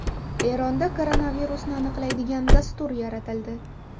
Eronda koronavirusni aniqlaydigan dastur yaratildi.